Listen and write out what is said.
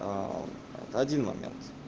это один момент